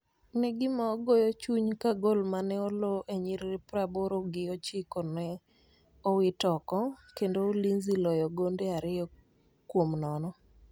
ne gima goyo chuny ka gol mane oloo e nyiriri pra boro gi ochikone owito oko kendo ulinzi loyo gonde ariyo kuomnono